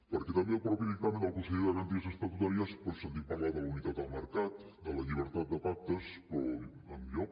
perquè també al mateix dictamen del consell de garanties estatutàries doncs sentim parlar de la unitat del mercat de la llibertat de pactes però enlloc